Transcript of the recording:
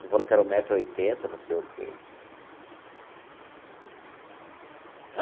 Tu falou que era um metro e oitenta não sei o quê.